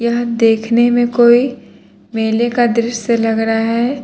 यहां देखने में कोई मेले का दृश्य लग रहा है।